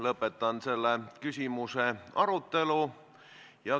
Lõpetan selle küsimuse arutelu.